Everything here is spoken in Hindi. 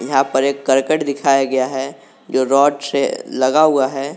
यहां पर एक करकट दिखाया गया है जो रॉड से लगा हुआ है।